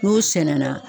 N'u sɛnɛnna